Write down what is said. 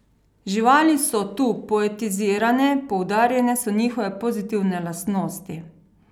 Živali so tu poetizirane, poudarjene so njihove pozitivne lastnosti.